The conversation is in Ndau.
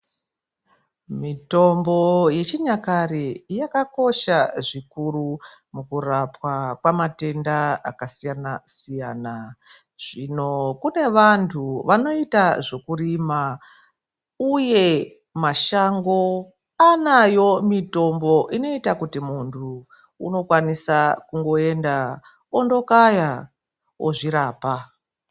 Mitombo yechinyakare yakakosha zvikuru mukurapwa kwematenda akasiyana siyana. Zvino kune vantu vanoita zvekurima uye mashango anayo mitombo inoita kuti muntu unokwanisa kungoenda ondokaya ozvirapa.